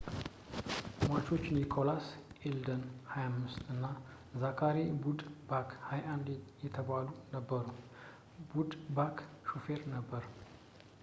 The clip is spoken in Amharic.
ሟቾች ኒኮላስ አልዴን 25 እና ዛካሪ ኩድባክ 21 የተባሉት ነበሩ ኩድባክ ሾፌር ነበር